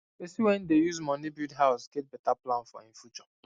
person wen dey use money build house get better plan for e future